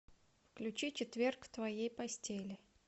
включи четверг в твоей постели